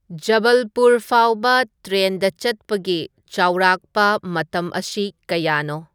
ꯖꯕꯜꯄꯨꯔ ꯐꯥꯎꯕ ꯇ꯭ꯔꯦꯟꯗ ꯆꯠꯄꯒꯤ ꯆꯥꯎꯔꯥꯛꯄ ꯃꯇꯝ ꯑꯁꯤ ꯀꯌꯥꯅꯣ